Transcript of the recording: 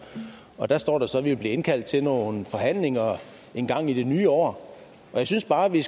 og der står der så at vi vil blive indkaldt til nogle forhandlinger engang i det nye år jeg synes bare vi